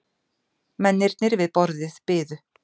Mennirnir við borðið biðu.